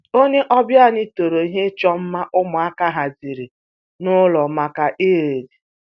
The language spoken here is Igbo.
Onye ọbịa anyị toro ihe ịchọ mma ụmụaka haziri n'ụlọ maka Eid